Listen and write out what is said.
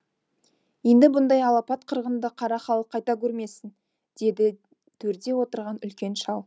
енді бұндай алапат қырғынды қара халық қайта көрмесін деді төрде отырған үлкен шал